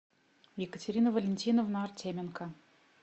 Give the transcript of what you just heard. екатерина валентиновна артеменко